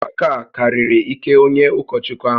Ọgbakọ a karịrị ike onye ụkọchukwu ahụ